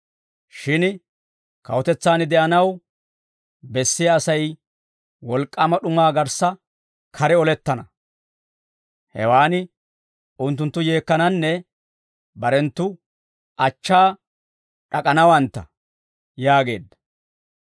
Shin kawutetsaan de'anaw bessiyaa Asay wolk'k'aama d'umaa garssa kare olettana; hewaan unttunttu yeekkananne barenttu achchaa d'ak'anawantta» yaageedda.